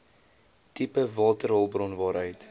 tipe waterhulpbron waaruit